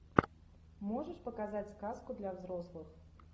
можешь показать сказку для взрослых